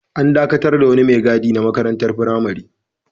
An dakatar da wani mai gadi na wata makarantar firamare.